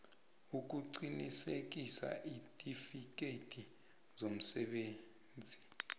ukuqinisekisa iintifikhethi zomsebenzisi